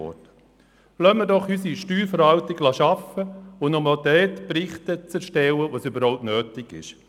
Lassen wir unsere Steuerverwaltung doch einfach arbeiten und auch nur dort Berichte zu erstellen, wo es notwendig ist.